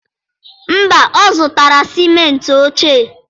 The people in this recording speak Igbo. Mba, ọ zụtara sịmentị ochie?